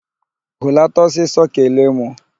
Hulata ọsịsọ kelee mụ!